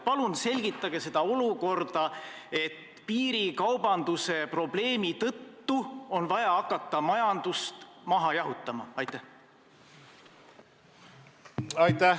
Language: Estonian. Palun selgitage seda seisukohta, et piirikaubanduse probleemi tõttu on vaja hakata majandust maha jahutama!